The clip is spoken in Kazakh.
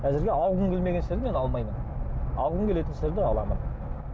әзірге алғым келмеген істерді мен алмаймын алғым келетін істерді аламын